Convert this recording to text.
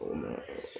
O